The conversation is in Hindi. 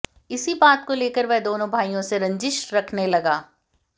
इसी बात को लेकर वह दोनों भाईयों से रंजिश रखने लगा